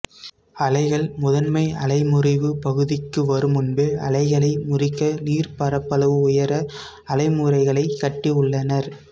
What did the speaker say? அலைகள் முதன்மை அலைமுறிவுப் பகுதிக்கு வருமுன்பே அலைகளை முறிக்க நீர்ப்ப்ரப்பளவு உயர அலைமுறிகளைக் கட்டியுள்ளனர்